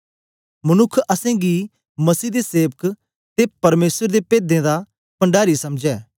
मनुक्ख असेंगी मसीह दे सेवक ते परमेसर दे पेदें दा पणडारी समझै